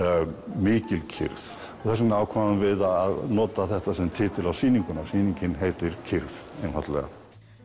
mikil kyrrð þess vegna ákváðum við að nota þetta sem titil á sýninguna sýningin heitir kyrrð einfaldlega